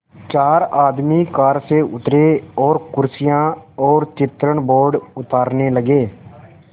चार आदमी कार से उतरे और कुर्सियाँ और चित्रण बोर्ड उतारने लगे